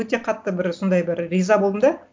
өте қатты бір сондай бір риза болдым да